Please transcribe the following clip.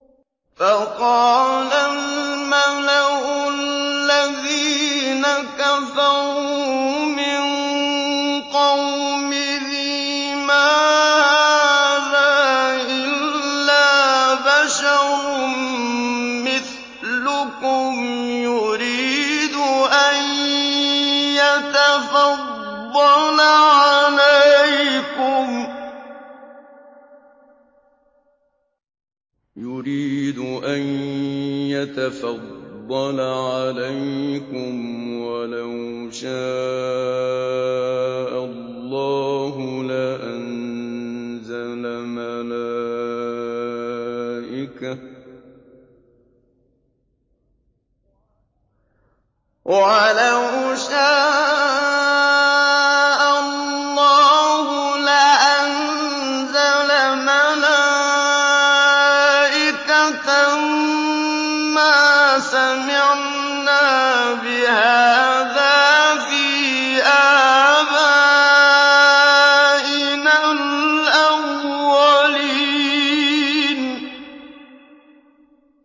فَقَالَ الْمَلَأُ الَّذِينَ كَفَرُوا مِن قَوْمِهِ مَا هَٰذَا إِلَّا بَشَرٌ مِّثْلُكُمْ يُرِيدُ أَن يَتَفَضَّلَ عَلَيْكُمْ وَلَوْ شَاءَ اللَّهُ لَأَنزَلَ مَلَائِكَةً مَّا سَمِعْنَا بِهَٰذَا فِي آبَائِنَا الْأَوَّلِينَ